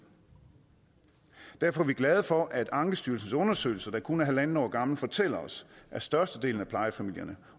derfor er vi glade for at ankestyrelsens undersøgelse der kun er halvandet år gammel fortæller os at størstedelen af plejefamilierne